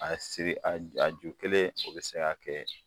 A siri a j a ju kelen o be se ka kɛ